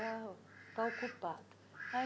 uau Está ocupado.